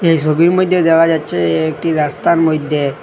এই ছবির মইধ্যে দেখা যাচ্ছে এ একটি রাস্তার মইধ্যে --